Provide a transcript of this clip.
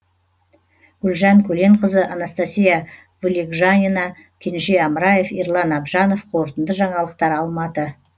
гүлжан көленқызы анастасия вылегжанина кенже амраев ерлан абжанов қорытынды жаңалықтар алматы